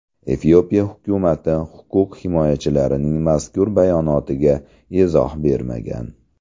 Efiopiya hukumati huquq himoyachilarining mazkur bayonotiga izoh bermagan.